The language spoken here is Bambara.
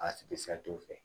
A bɛ fɛ